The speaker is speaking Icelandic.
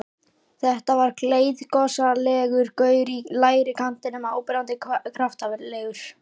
Þetta var gleiðgosalegur gaur í lægri kantinum, áberandi kraftalegur.